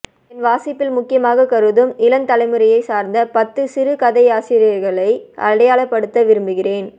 என் வாசிப்பில் முக்கியமாகக் கருதும் இளம்தலைமுறையைச் சார்ந்த பத்துசிறுகதையாசிரியர்களை அடையாளப்படுத்த விரும்புகிறேன்